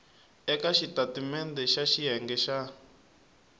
eka xitatimendhe xa xiyenge xa